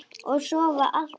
Og sofa allt of mikið.